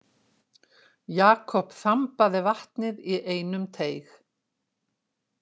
Jakob þambaði vatnið í einum teyg.